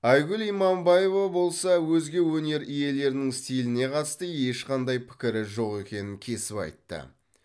айгүл иманбаева болса өзге өнер иелерінің стиліне қатысты ешқандай пікірі жоқ екенін кесіп айтты